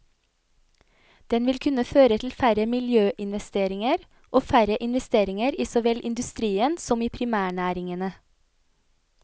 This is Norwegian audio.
Den vil kunne føre til færre miljøinvesteringer og færre investeringer i så vel industrien som i primærnæringene.